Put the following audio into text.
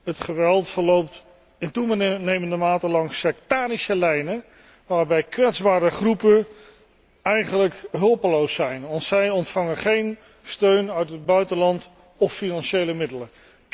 Het geweld verloopt in toenemende mate langs sektarische lijnen, waarbij kwetsbare groepen eigenlijk hulpeloos zijn want zij ontvangen geen steun uit het buitenland of financiële middelen.